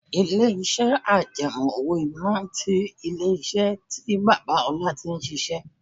Ilé iṣẹ́ àjẹmó-owó-iná ti ilé-iṣẹ́ tí bàbá Ọlá tí ń ṣíṣe.